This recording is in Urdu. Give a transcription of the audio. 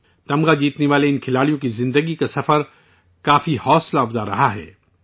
ان میڈل فاتحین کی لائف جرنی کافی انسپائرنگ رہی ہے